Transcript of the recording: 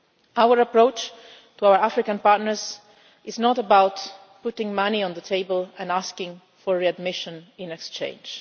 Our approach to our African partners is not about putting money on the table and asking for readmission in exchange.